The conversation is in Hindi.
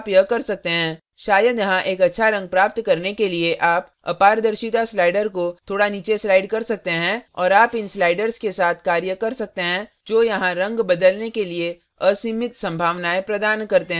शायद यहाँ एक अच्छा रंग प्राप्त करने के लिए आप अपारदर्शिता slider को थोड़ा नीचे slide कर सकते हैं और आप इन sliders के साथ कार्य कर सकते हैं जो यहाँ रंग बदलने के लिए असीमित संभावनायें प्रदान करते हैं